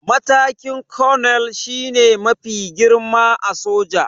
Matakin 'Colonel' shi ne mafi girma a soja